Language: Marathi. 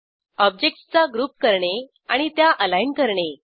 ऑब्जेक्टसचा ग्रुप करणे आणि त्या अलाईन करणे